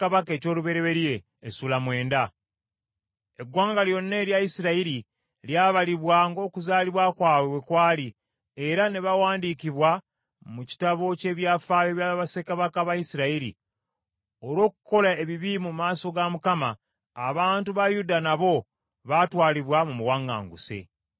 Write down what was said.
Eggwanga lyonna erya Isirayiri lyabalibwa ng’okuzaalibwa kwabwe bwe kwali era ne bawandiikibwa mu kitabo ky’ebyafaayo bya bassekabaka ba Isirayiri. Olw’okukola ebibi mu maaso ga Mukama , abantu ba Yuda nabo baatwalibwa mu buwaŋŋanguse.